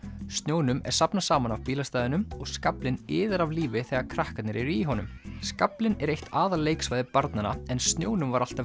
snjónum er safnað saman af bílastæðunum og skaflinn iðar af lífi þegar krakkarnir eru í honum skaflinn er eitt aðal leiksvæði barnanna en snjónum var alltaf